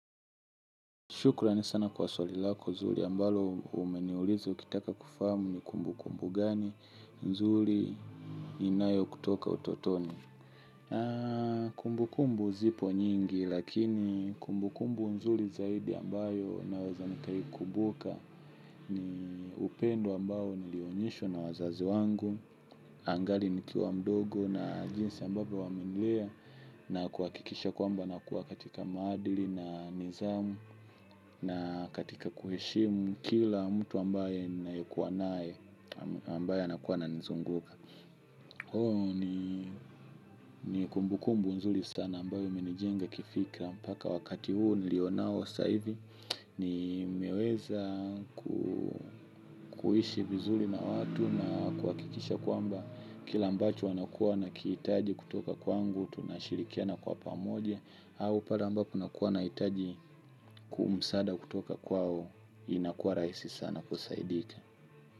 Shukurani sana kwa swali lako zuri ambalo umeniuliza ukitaka kufahamu ni kumbukumbu gani nzuri inayo kutoka utotoni. Kumbukumbu zipo nyingi lakini kumbukumbu nzuri zaidi ambayo naweza nikaikumbuka ni upendo ambao nilionyeshwa na wazazi wangu. Angali nikiwa mdogo na jinsi ambavyo wamenilea na kuhakikisha kwamba nakua katika maadili na nidhamu na katika kuheshimu kila mtu ambaye nayekuwa naye ambaye anakuwa ana nizunguka. Huo ni ni kumbukumbu nzuri sana ambayo imenijenga kifikra mpaka wakati huu nilionao sasa hivi nimeweza kuishi vizuri na watu na kuhakikisha kwamba kila mbacho wanakuwa na kihitaji kutoka kwangu. Tunashirikiana kwa pamoja au pala ambapo nakuwa na hitaji kuu msada kutoka kwao. Inakuwa rahisi sana kusaidika.